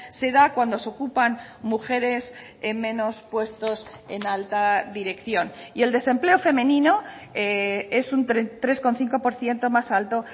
se da cuando se ocupan mujeres en menos puestos en alta dirección y el desempleo femenino es un tres coma cinco por ciento más alto